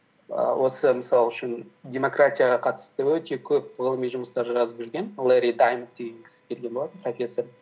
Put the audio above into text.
ііі осы мысал үшін демократияға қатысты өте көп ғылыми жұмыстар жазып жүрген лерри даймонд деген кісі келген болатын профессор